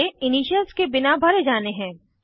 ये इनिशियल्स के बिना भरे जाने हैं